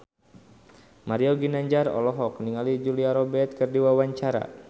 Mario Ginanjar olohok ningali Julia Robert keur diwawancara